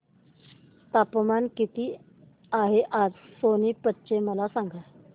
तापमान किती आहे आज सोनीपत चे मला सांगा